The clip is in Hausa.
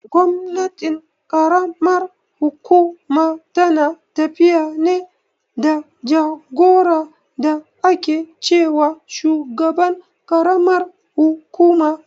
Gwamnatin ƙaramar hukuma tana tafiya ne da jagora da ake ce wa shugaban karamar kukuma.